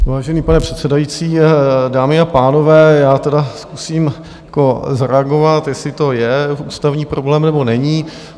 Vážení pane předsedající, dámy a pánové, já tedy zkusím zareagovat, jestli to je ústavní problém, nebo není.